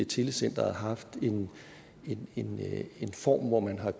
telecenteret haft en en form hvor man har